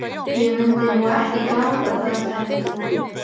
Ég mundi nú ekki gráta það sagði Jói.